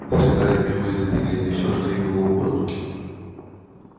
среда лепила из этой глины всё что ей было угодно